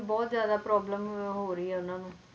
ਬਹੁਤ ਜ਼ਿਆਦਾ problem ਹੋ ਰਹੀ ਹੈ ਉਹਨਾਂ ਨੂੰ